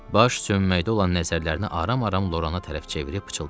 Baş sönməkdə olan nəzərlərini aram-aram Lorana tərəf çevirib pıçıldadı.